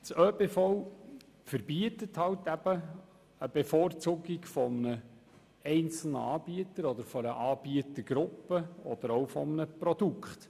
Die Verordnung über das öffentliche Beschaffungswesen verbietet eben eine Bevorzugung eines einzelnen Anbieters oder einer Anbietergruppe oder auch eines Produkts.